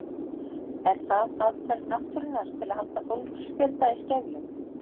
Er það aðferð náttúrunnar til að halda fólksfjölda í skefjum?